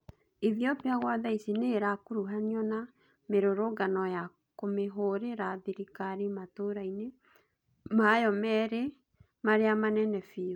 Ethiopia gwa thaici niirakuruhanio na mirũrũngano ya kũmihũrira thirikari matũra-ini mayo miri maria manene biũ